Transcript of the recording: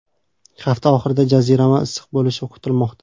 Hafta oxirida jazirama issiq bo‘lishi kutilmoqda.